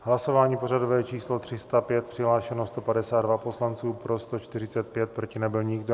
Hlasování pořadové číslo 305, přihlášeno 152 poslanců, pro 145, proti nebyl nikdo.